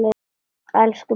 Elsku Birta mín.